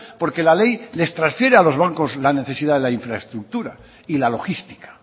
porque la ley les transfiere a los bancos la necesidad de la infraestructura y la logística